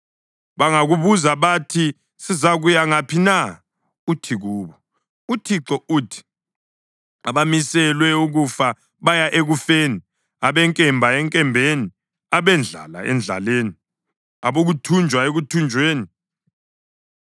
Bangakubuza bathi, ‘Sizakuya ngaphi na?’ uthi kubo, uThixo uthi: ‘Abamiselwe ukufa, baya ekufeni; abenkemba, enkembeni; abendlala, endlaleni; abokuthunjwa, ekuthunjweni.’